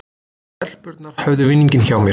Stelpurnar höfðu vinninginn hjá mér